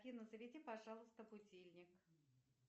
афина заведи пожалуйста будильник